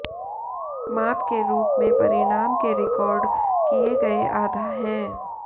माप के रूप में परिणाम के रिकॉर्ड किए गए आधा है